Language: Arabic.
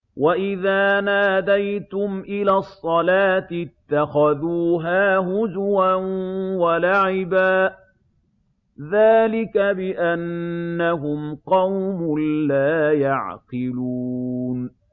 وَإِذَا نَادَيْتُمْ إِلَى الصَّلَاةِ اتَّخَذُوهَا هُزُوًا وَلَعِبًا ۚ ذَٰلِكَ بِأَنَّهُمْ قَوْمٌ لَّا يَعْقِلُونَ